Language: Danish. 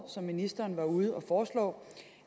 som ministeren var ude at foreslå